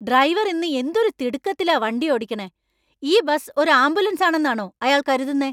Driver ഇന്ന്എന്തൊരു തിടുക്കത്തിലാ വണ്ടി ഓടിക്കണെ. ഈ ബസ് ഒരു ആംബുലൻസാണെന്നാണൊ അയാൾ കരുതുന്നെ ?